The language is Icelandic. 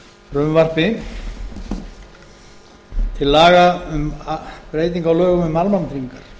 frumvarpi til laga um breytingu á lögum um almannatryggingar